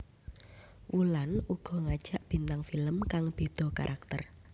Wulan uga ngajak bintang film kang beda karakter